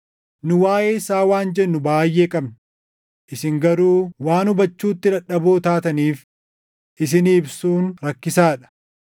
Nu waaʼee isaa waan jennu baayʼee qabna; isin garuu waan hubachuutti dadhaboo taataniif isinii ibsuun rakkisaa dha.